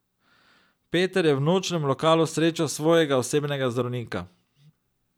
Peter je v nočnem lokalu srečal svojega osebnega zdravnika.